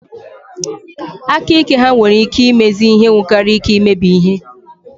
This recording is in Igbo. Aka ike ha nwere ike imezi ihe nwekara ike imebi ihe.